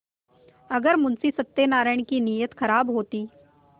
अगर मुंशी सत्यनाराण की नीयत खराब होती